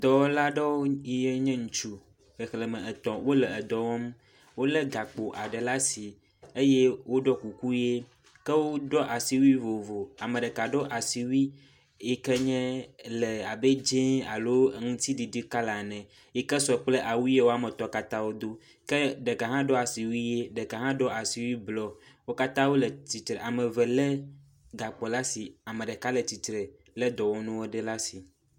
Dɔwɔla aɖewo yi ke nye ŋutsu, xexleme etɔ̃ wole dɔ wɔm. Wole gakpo aɖe ɖe asi eye woɖɔ kuku ʋe ke woɖɔ asiwui vovovo. Ame ɖeka ɖɔ asiwui yi ke nye le abe dzɛ̃alo le aŋutiɖiɖi color ene yi ke sɔ kple awu si wo katã wodo ke ɖeka hã ɖɔ asiwui ʋi ɖeka hã ɖɔ asiwui blɔ wo katã wole tsitre. Ame eve lé gakpo ɖe asi ame ɖeka le tsitre wolé dɔwɔnu aɖewo ɖe asi.